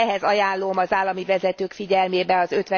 Ehhez ajánlom az állami vezetők figyelmébe az